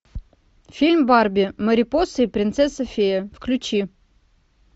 фильм барби марипоса и принцесса фея включи